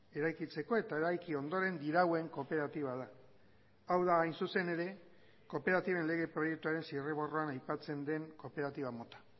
eraikitzeko eta eraiki ondoren dirauen kooperatiba da hau da hain zuzen ere kooperatiben lege proiektuaren zirriborroan aipatzen den kooperatiba mota